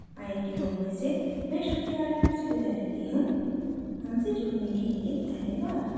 I I T Bombay से मैं श्रुति आर्य आपसे विदा लेती हूं हमसे जुड़ने के लिए धन्यवाद